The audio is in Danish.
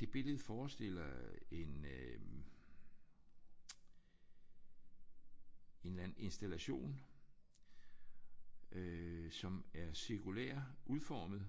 Det billede forestiller en øh en eller anden installation øh som er cirkulært udformet.